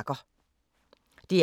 DR P3